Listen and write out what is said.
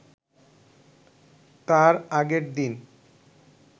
তার আগের দিন